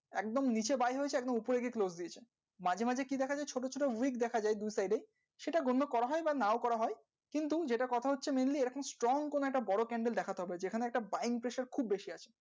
একদম buying থাকবে মাঝে মাঝে ছোট ছোট dip দেখা যাই সেটা পাওয়া যাই বা নাও পাওয়া যায় but যেটা কথা হচ্ছে strong একটা বড় candle দেখা যাই পেছনে একটা buying pressure খুব বেশি